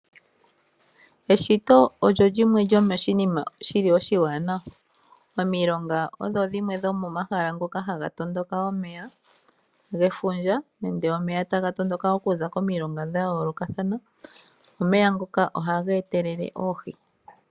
Eshito olyo lyimwe lyo moshinima shili oshiwanawa. Omilonga odho dhimwe dho momahala gamwe ngoka haga tondoka omeya gefundja nenge omeya taga tondoka okuza komilonga dha yoolokathana, nomeya ngoka ohaga etelele oohi.